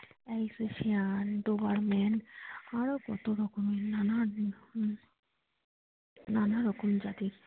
AlsatianDobermann আরো কত রকম নানান নানা রকম জাতির।